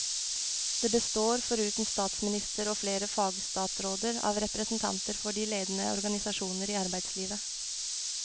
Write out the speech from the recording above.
Det består, foruten statsminister og flere fagstatsråder, av representanter for de ledende organisasjoner i arbeidslivet.